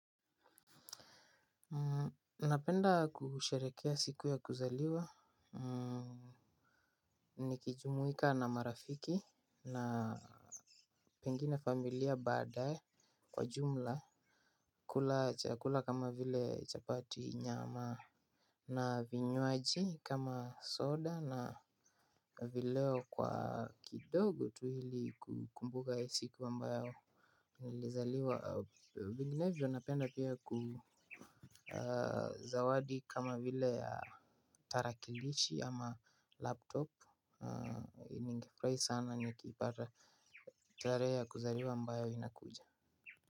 Napenda kusherehekea siku ya kuzaliwa. Ni kijumuika na marafiki na pengine familia baadae. Kwa jumla kula chakula kama vile chapati nyama. Na vinywaji kama soda na vileo kwa kidogo tu ili kukumbuka siku ambayo nilizaliwa vinginevyo napenda pia kuzawadi kama vile ya tarakilishi ama laptop ningefurahi sana nikiipata tarehe ya kuzaliwa ambayo ina kuja.